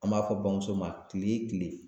An b'a fɔ bamuso ma kile kile